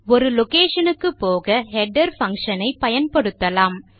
ஒரு லொகேஷன் க்குப்போக header function ஐ பயன்படுத்தலாம்